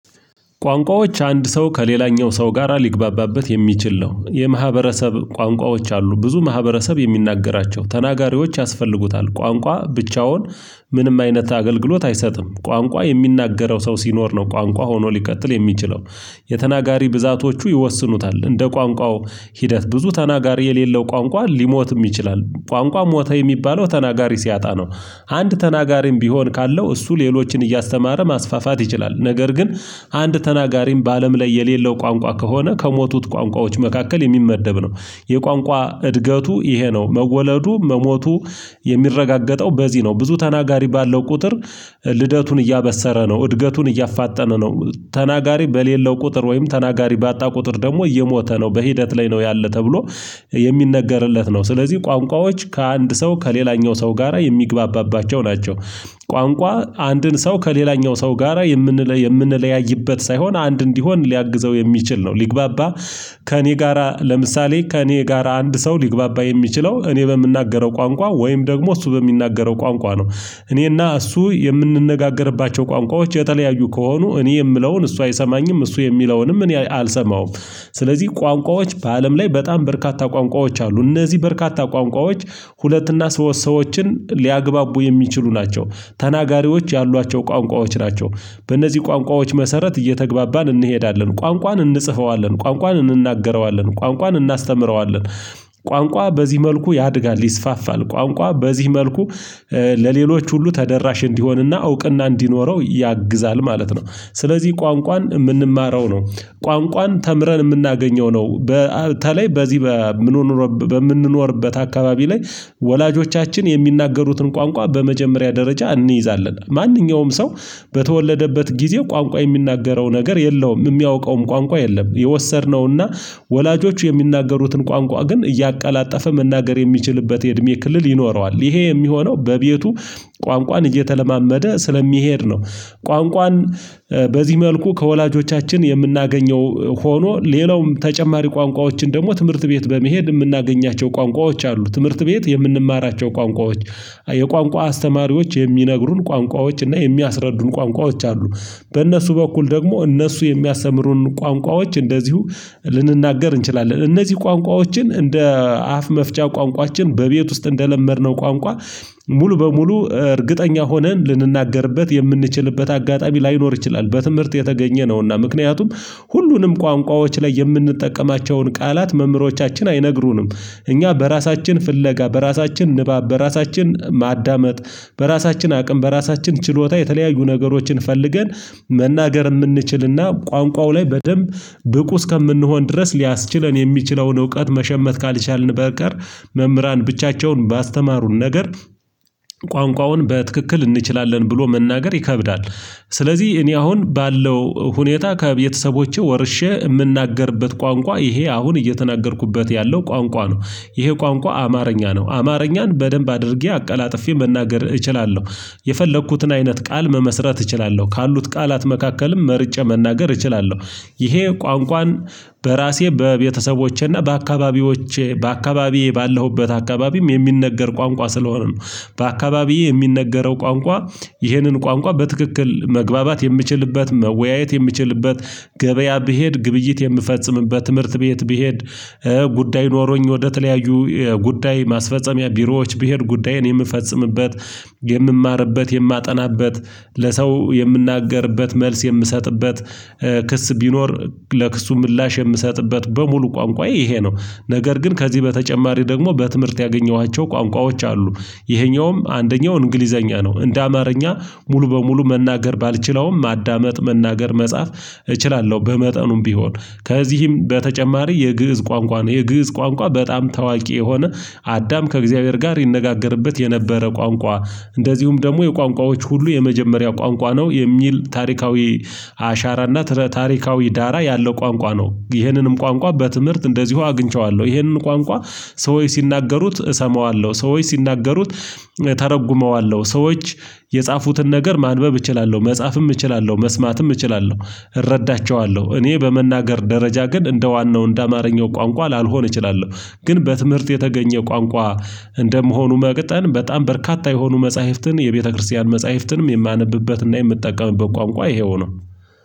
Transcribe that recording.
ቋንቋዎች አንድ ሰው ከሌላኛው ሰው ጋራ ሊግባባበት የሚችል ነው የማህበረሰብ ቋንቋዎች አሉ ብዙ ማህበረሰብ የሚናገራቸው ተናጋሪዎች ያስፈልጉታል ቋንቋ ብቻውን። ምንም አይነት አገልግሎት አይሰጥም ቋንቋ የሚናገረው ሰው ሲኖር ነው። ቋንቋ ሆኖ ልቀጥል የሚችለው። የተናጋሪ ብዛቶቹ ይወስኑታል እንደ ቋንቋው ሂደት ብዙ ተናጋሪ የሌለው ቋንቋ ሊሞትም ይችላል ቋንቋ ሞተ የሚባለው ተናጋሪ ሲያጣ ነው። አንድ ተናጋሪም ቢሆን ካለው እሱ ሌሎችን እያስተማረ ማስፋፋት ይችላል። ነገር ግን አንድ ተናጋሪም በአለም ላይ የሌለው ቋንቋ ከሆነ ከሞቱት ቋንቋዎች መካከል የሚመደብ ነው። የቋንቋ እድገቱ ይሄ ነው መወለዱ መሞቱ የሚረጋገጠው በዚህ ነው። ብዙ ተናጋሪ ባለው ቁጥር ልደቱን እያበሰረ ነው እድገቱን እያፋጠነ ነው። ተናጋሪ በሌለው ቁጥር ወይም ተናጋሪ ባጣ ቁጥር ደግሞ እየሞተ ነው በሂደት ላይ ነው ያለው ተብሎ የሚነገርለት ነው። ስለዚህ ቋንቋዎች ከአንድ ሰው ከሌላኛው ሰው ጋራ የሚግባባባቸው ናቸው። ቋንቋ አንድን ሰው ከሌላኛው ሰው ጋራ የምንለይ .የምንለያይበት ሳይሆን አንድ እንዲሆን ሊያግዘው የሚችል ነው። ሊግባባ ከእኔ ጋራ ለምሳሌ ከእኔ ጋራ አንድ ሰው ሊግባባ የሚችለው እኔ በምናገረው ቋንቋ ወይም ደግሞ እሱ በሚናገረው ቋንቋ ነው። እኔና እሱ የምንነጋገርባቸው ቋንቋዎች የተለያዩ ከሆኑ እኔ የምለውን እሱ አይሰማኝም እሱ የሚለውንም እኔ አልሰማውም። ስለዚህ ቋንቋዎች በአለም ላይ በጣም በርካታ ቋንቋዎች አሉ። እነዚህ በርካታ ቋንቋዎች ሁለትና ሶስት ሰዎችን ሊያግባቡ የሚችሉ ናቸው። ተናጋሪዎች ያሏቸው ቋንቋዎች ናቸው በእነዚህ ቋንቋዎች መሰረት እየተግባባን እንሄዳለን ቋንቋን እንጽፈዋለን ቋንቋን እንናገረዋለን ቋንቋን እናስተምረዋለን። ቋንቋ በዚህ መልኩ ያድጋል ይስፋፋል ቋንቋ በዚህ መልኩ ለሌሎች ሁሉ ተደራሽ እንዲሆንና እውቅና እንዲኖረው ያግዛል ማለት ነው። ስለዚህ ቋንቋን የምንማረው ነው። ቋንቋን ተምረን የምናገኘው ነው በተለይ በዚህ በምንኖርበት አካባቢ ላይ ወላጆቻችን የሚናገሩትን ቋንቋ በመጀመሪያ ደረጃ እንይዛለን ማንኛውም ሰው በተወለደበት ጊዜ ቋንቋ የሚናገረው ነገር የለውም የሚያውቀውም ቋንቋ የለም። የወሰድነውና ወላጆቹ የሚናገሩትን ቋንቋ ግን እያቀላጠፈ መናገር የሚችልበት የእድሜ ክልል ይኖረዋል ይሄ የሚሆነው በቤቱ ቋንቋን እየተለማመደ ስለሚሄድ ነው። ቋንቋን በዚህ መልኩ ከወላጆቻችን የምናገኘው ሆኖ ሌላውም ተጨማሪ ቋንቋዎችን ደግሞ ትምህርት ቤት በመሄድ የምናገኛቸው ቋንቋዎች አሉ። ትምህርት ቤት የምንማራቸው ቋንቋዎች የቋንቋ አስተማሪዎች የሚነግሩን ቋንቋዎች እና የሚያስረዱን ቋንቋዎች አሉ። በእነሱ በኩል ደግሞ እነሱ የሚያስተምሩን ቋንቋዎች እንደዚሁ ልንናገር እንችላለን። እነዚህ ቋንቋዎችን እንደ አፍ መፍቻ ቋንቋችን በቤት ውስጥ እንደለመድነው ቋንቋ ሙሉ በሙሉ እርግጠኛ ሆነን ልንናገርበት የምንችልበት አጋጣሚ ላይኖር ይችላል። በትምህርት የተገኘ ነውና ምክንያቱም ሁሉንም ቋንቋዎች ላይ የምንጠቀማቸውን ቃላት መምህሮቻችን አይነግሩንም። እኛ በራሳችን ፍለጋ በራሳችን ንባብ በራሳችን ማዳመጥ በራሳችን አቅም በራሳችን ችሎታ የተለያዩ ነገሮችን ፈልገን መናገር የምንችልና ቋንቋው ላይ በደንብ ብቁ እስከምንሆን ድረስ ሊያስችለን የሚችለውን እውቀት መሸመት ካልቻልን በቀር መምህራን ብቻቸውን ባስተማሩን ነገር ቋንቋውን በትክክል እንችላለን ብሎ መናገር ይከብዳል። ስለዚህ እኔ አሁን ባለው ሁኔታ ከቤተሰቦቼ ወርሼ የምናገርበት ቋንቋ ይሄ አሁን እየተናገርኩበት ያለው ቋንቋ ነው። ይሄ ቋንቋ አማርኛ ነው አማርኛን በደንብ አድርጌ አቀላጥፌ መናገር እችላለሁ። የፈለኩትን አይነት ቃል መመስረት እችላለሁ ካሉት ቃላት መካከልም መርጬ መናገር እችላለሁ። ይሄ ቋንቋን በራሴ በቤተሰቦቼና በአካባቢዎቼ በአካባቢዬ ባለሁበት አካባቢም የሚነገር ቋንቋ ስለሆነ ነው። በአካባቢዬ የሚነገረው ቋንቋ ይህንን ቋንቋ በትክክል መግባባት የምችልበት መወያየት የምችልበት ገበያ ብሄድ ግብይት የምፈጽምበት ትምህርት ቤት ብሄድ ጉዳይ ኖሮኝ ወደተለያዩ ጉዳይ ማስፈጸሚያ ቢሮዎች ብሄድ ጉዳይ እኔ የምፈጽምበት የምማርበት የማጠናበት ለሰው የምናገርበት መልስ የምሰጥበት ክስ ቢኖር ለክሱ ምላሽ የምሰጥበት በሙሉ ቋንቋ ይሄ ነው። ነገር ግን ከዚህ በተጨማሪ ደግሞ በትምህርት ያገኘኋቸው ቋንቋዎች አሉ። ይሄኛውም አንደኛው እንግሊዘኛ ነው እንደ አማርኛ ሙሉ በሙሉ መናገር ባልችለውም ማዳመጥ መናገር መጻፍ እችላለሁ። በመጠኑም ቢሆን ከዚህም በተጨማሪ የግእዝ ቋንቋ ነው። የግእዝ ቋንቋ በጣም ታዋቂ የሆነ አዳም ከእግዚአብሔር ጋር ይነጋገርበት የነበረ ቋንቋ እንደዚሁም ደግሞ የቋንቋዎች ሁሉ የመጀመሪያው ቋንቋ ነው የሚል ታሪካዊ አሻራና ትረ ታሪካዊ ዳራ ያለው ቋንቋ ነው። ይህንንም ቋንቋ በትምህርት እንደዚሁ አግኝቼዋለሁ ይህንን ቋንቋ ሰውች ሲናገሩት እሰማዋለሁ ሰዎች ሲናገሩት ተርጉመዋለሁ ሰዎች የጻፉትን ነገር ማንበብ እችላለሁ መጻፍም እችላለሁ መስማትም እችላለሁ። እረዳቸዋለሁ እኔ በመናገር ደረጃ ግን እንደ ዋናው እንደ አማርኛው ቋንቋ ላልሆን እችላለሁ። ግን በትምህርት የተገኘ ቋንቋ እንደመሆኑ መግጠም በጣም በርካታ የሆኑ መጽሐፍትን የቤተክርስቲያን መጽሐፍትንም የማነብበትና የምትጠቀምበት ቋንቋ ይሄው ነው።